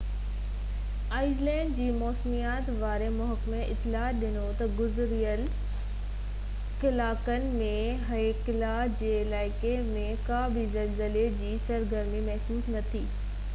ice land جي موسميات واري محڪمي اطلاع ڏنو تہ گذريل 48 ڪلاڪن ۾ هيڪلا جي علائقي ۾ ڪا بہ زلزلي جي سرگرمي محسوس نہ ٿي